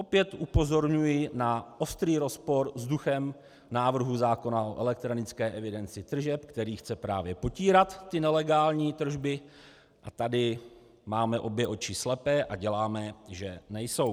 Opět upozorňuji na ostrý rozpor s duchem návrhu zákona o elektronické evidenci tržeb, který chce právě potírat ty nelegální tržby, a tady máme obě oči slepé a děláme, že nejsou.